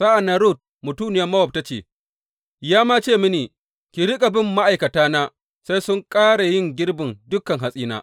Sa’an nan Rut mutuniyar Mowab ta ce, Ya ma ce mini, Ki riƙa bin ma’aikatana sai sun ƙare yin girbin dukan hatsina.’